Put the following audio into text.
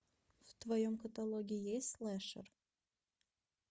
в твоем каталоге есть слэшер